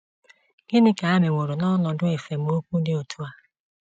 Gịnị ka ha meworo n’ọnọdụ esemokwu dị otú a?